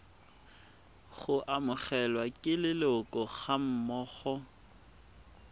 go amogelwa ke leloko gammogo